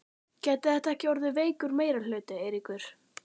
Gæti þetta ekki orðið veikur meirihluti, Eiríkur?